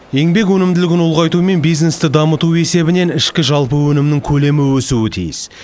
еңбек өнімділігін ұлғайту мен бизнесті дамыту есебінен ішкі жалпы өнімнің көлемі өсуі тиіс